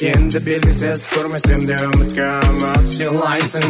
енді белгісіз көрмесемде үмітке үміт сыйлайсың